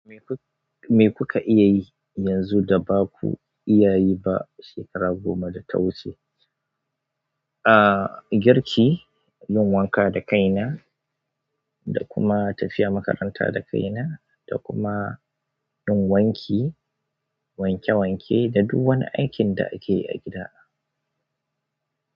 Me kuka iya yi yanzu da baku iya yi ba shekaru goma da ta wuce? Ah, girki, yin wanka da kaina, da kuma tafiya makaranta da kaina, da kuma yin wanki, wanke wanke da dukan aikin da ake yi a gida.